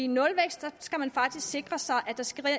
nulvækst skal man faktisk sikre sig